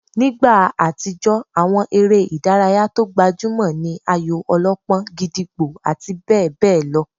Nígbà àtijó, àwọn eré ìdárayá tó gbajúmọ̀ ní ayò-ọlọ́pọ́n, gídígbò àti bẹ́ẹ̀ bẹ́ẹ̀ lọ